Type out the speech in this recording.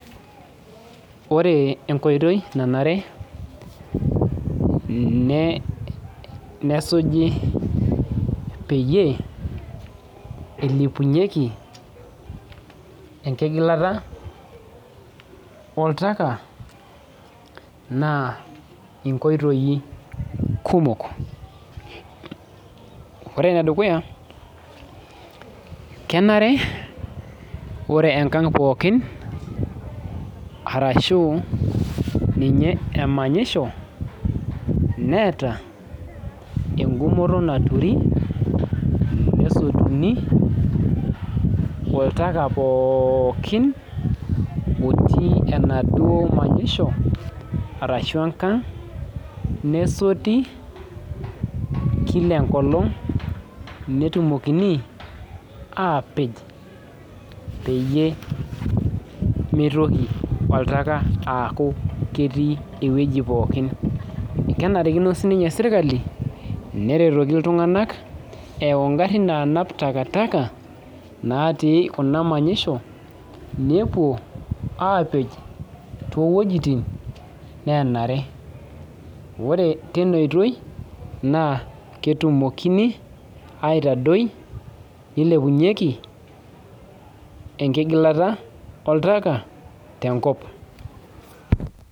Ore entoki nkoitoi nanare nesuji peyie ilepunyeki enkigilata oltaka na nkoitoi kumok ore enedukuya kenare ore enkang pookin ashu ninye emamyisho neeta engumoto naturuni nepiki oltaka pookin otii enaduo manyisho ashu enkang nesoti kila enkolong netumokini apeeh pemitoki oltaka aaku ketii ewoi pookin kenarikino sinye serkali pelak ngarin natii kuna manyisho nepo s ore tine na ketumokini aitadoi nilepunyeki enkigalata oltaka tenkop.